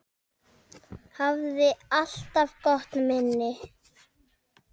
Hafði alltaf gott minni.